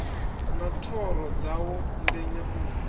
na thoro dzawo ndenya u